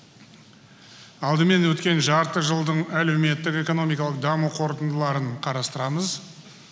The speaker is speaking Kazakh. алдымен өткен жарты жылдың әлеуметтік экономикалық даму қорытындыларын қарастырамыз